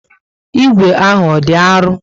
Ígwè ahụ ọ dị arụ?